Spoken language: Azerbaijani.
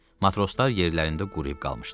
Matroslar yerlərində quruyub qalmışdılar.